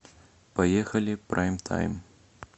поехали прайм тайм